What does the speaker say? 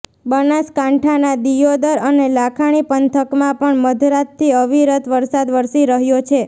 બનાસકાંઠાના દિયોદર અને લાખણી પંથકમાં પણ મધરાતથી અવિરત વરસાદ વરસી રહ્યો છે